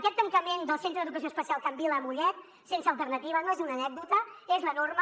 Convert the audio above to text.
aquest tancament del centre d’educació especial can vila a mollet sense alternativa no és una anècdota és la norma